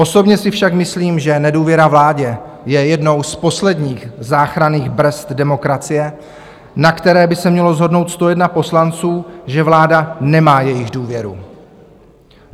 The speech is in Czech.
Osobně si však myslím, že nedůvěra vládě je jednou z posledních záchranných brzd demokracie, na které by se mělo shodnout 101 poslanců, že vláda nemá jejich důvěru.